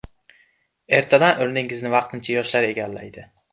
Ertadan o‘rningizni vaqtincha yoshlar egallaydi.